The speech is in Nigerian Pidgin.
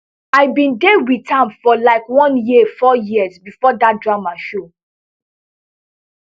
i bin dey wit am for like one year four years bifor dat drama show